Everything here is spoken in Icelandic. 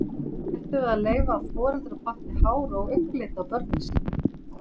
Ætlum við að leyfa að foreldrar panti hár- og augnlit á börnin sín?